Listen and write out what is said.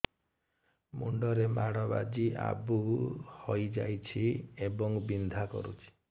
ମୁଣ୍ଡ ରେ ମାଡ ବାଜି ଆବୁ ହଇଯାଇଛି ଏବଂ ବିନ୍ଧା କରୁଛି